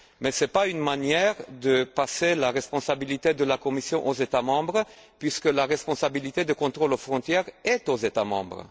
Toutefois, ce n'est pas une manière de transférer la responsabilité de la Commission aux États membres puisque la responsabilité du contrôle aux frontières incombe aux États membres.